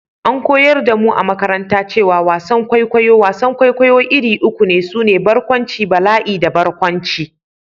An koyar da mu a makaranta cewa wasan kwaikwayo/wasan kwaikwayo iri uku ne, su ne: Barkwanci, Bala'i da Barkwanci.